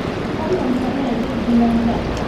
Fadlan samee jeeg diiwaanka